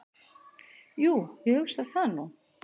"""Jú, ég hugsa það nú."""